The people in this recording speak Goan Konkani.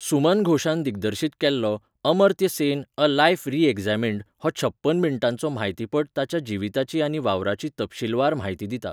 सुमन घोषान दिग्दर्शीत केल्लो 'Amartya Sen a life reexamined' हो छप्पन मिण्टांचो म्हायतीपट ताच्या जिविताची आनी वावराची तपशीलवार म्हायती दिता.